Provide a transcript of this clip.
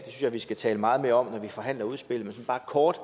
jeg vi skal tale meget mere om når vi forhandler udspillet men bare kort